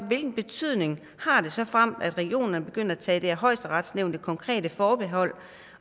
hvilken betydning har det såfremt regionerne begynder at tage det af højesteret nævnte konkrete forbehold